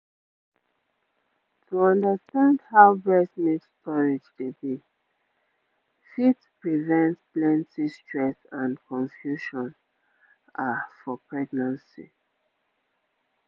to understand how breast milk storage dey be. fiit prevent plenty stress and confusion ah for pregnancy